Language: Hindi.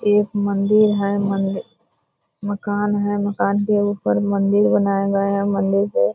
एक मंदिर है मंदि मकान है मकान के ऊपर मंदिर बनाया गया है मंदिर बहो --